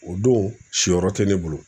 O don si yɔrɔ tɛ ne bolo